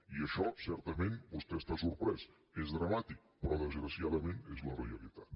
i això certament vostè està sorprès és dramàtic però desgraciadament és la realitat